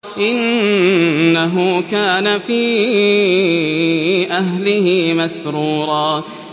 إِنَّهُ كَانَ فِي أَهْلِهِ مَسْرُورًا